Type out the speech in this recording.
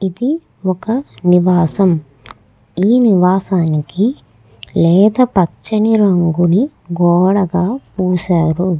ఇది ఒక నివాసం. ఈ నివాసానికి లేత పచ్చని రంగు గోడకి కి వేసారు.